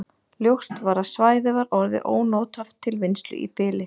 Ljóst var að svæðið var orðið ónothæft til vinnslu í bili.